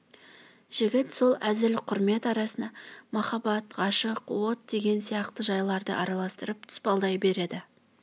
жігіт сол әзіл құрмет арасына махаббат ғашық от деген сияқты жайларды араластырып тұспалдай береді